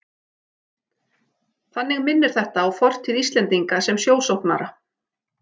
Þannig minnir þetta á fortíð Íslendinga sem sjósóknara.